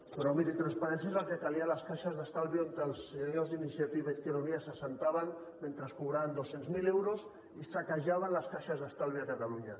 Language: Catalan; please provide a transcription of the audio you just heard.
però miri transparència és el que calia a les caixes d’estalvis on els senyors d’iniciativa i izquierda unida s’asseien mentre cobraven dos cents miler euros i saquejaven les caixes d’estalvis a catalunya